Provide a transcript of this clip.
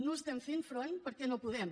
no hi estem fent front perquè no podem